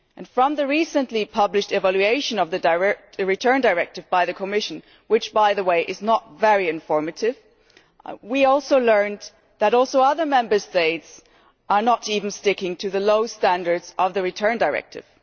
From the recently published evaluation of the Return Directive by the Commission, which, by the way, is not very informative, we also learned that other Member States are not even sticking to the low standards of the Return Directive.